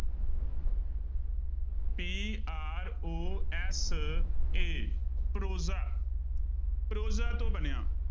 P R O S A prose prosa ਤੋਂ ਬਣਿਆ।